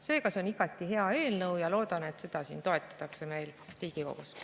Seega, see on igati hea eelnõu ja loodan, et seda siin toetatakse meil Riigikogus.